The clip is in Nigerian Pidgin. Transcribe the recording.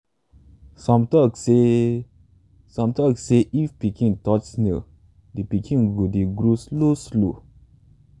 some tok say some tok say if pikin touch snail di pikin go dey grow slow slow.